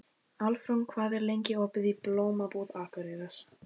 Álfrún, hvað er lengi opið í Blómabúð Akureyrar?